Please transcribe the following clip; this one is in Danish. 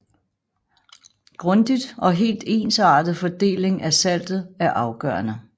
Grundig og helt ensartet fordeling af saltet er afgørende